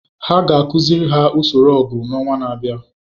Ha ga-akụziri ha usoro ọgụ n’ọnwa na-abịa.